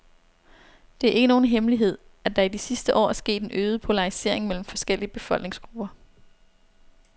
Det er ikke nogen hemmelighed, at der i de sidste år er sket en øget polarisering mellem forskellige befolkningsgrupper.